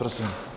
Prosím.